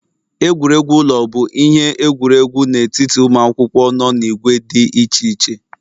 Egwuregwu ụlọ bụ ihe egwuregwu n'etiti ụmụ akwụkwọ nọ n'ìgwè dị iche iche